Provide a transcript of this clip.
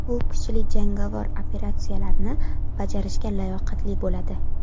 Bu kuchlar jangovar operatsiyalarni bajarishga layoqatli bo‘ladi.